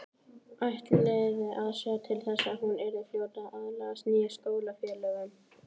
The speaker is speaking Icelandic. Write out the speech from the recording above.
Ætlaði að sjá til þess að hún yrði fljót að aðlagast nýjum skólafélögum.